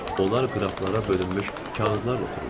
Onlar qraflara bölünmüş kağızlarla otururlar.